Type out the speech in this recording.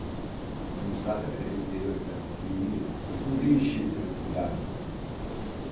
Porque a nossa cidade era interior, cidade pequenininha, então não tem enchente na cidade.